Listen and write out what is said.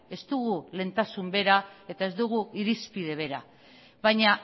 ez dugu lehentasun bera eta ez dugu irizpide bera baina